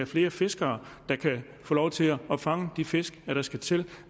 flere fiskere der kan få lov til at fange de fisk der skal til